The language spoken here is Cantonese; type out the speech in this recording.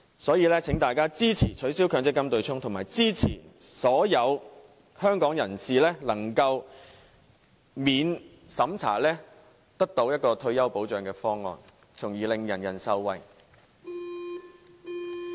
所以，請大家支持取消強積金對沖及支持所有香港人可獲得免審查退休保障的方案，令所有人受惠。